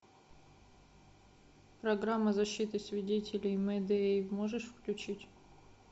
программа защиты свидетелей мэдеи можешь включить